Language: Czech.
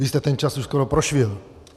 Vy jste ten čas už skoro prošvihl.